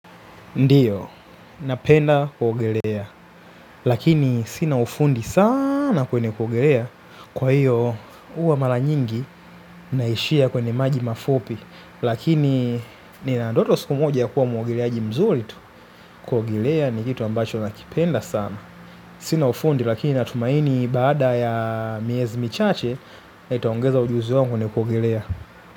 Ndiyo, napenda kuogelea, lakini sina ufundi sana kwenye kuogelea, kwa hiyo huwa mara nyingi naishia kwenye maji mafupi, lakini nina ndoto siku moja kuwa mwogeleaji mzuri tu kuogelea ni kitu ambacho nakipenda sana. Sina ufundi lakini natumaini baada ya miezi michache nitaongeza ujuzi wangu kwenye kuogelea.